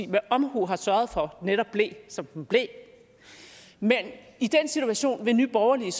med omhu har sørget for netop blev som den blev men i den situation vil nye borgerlige